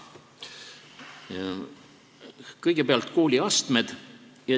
Kõigepealt, kooliastmed.